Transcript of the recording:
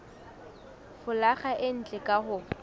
folaga e ntle ka ho